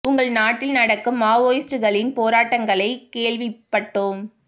உங்கள் நாட்டில் நடக் கும் மாவோயிஸ்ட்களின் போராட் டங்களைக் கேள்விப்பட்டோம்